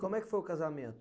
Como é que foi o casamento?